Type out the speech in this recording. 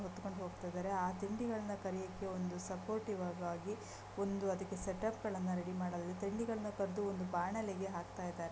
ಹೆತ್ತುಕೊಂಡು ಹೋಗ್ತಾಯಿದರೆ ಆ ತಿಂಡಿಗಳನ್ನ ಕರಿಯಕ್ಕೆ ಒಂದು ಸಪೋರ್ಟಿವ್ ಆಗಿ ಒಂದು ಅದಕ್ಕೆ ಸೇಟಪ್ ಗಳನ್ನ ರೆಡಿ ಮಾಡಲಿ ತಿಂಡಿಗಳನ್ನ ಕದ್ದು ಒಂದು ಬಾಣಲಿಗೆ ಹಾಕ್ತಾಯಿದರೆ .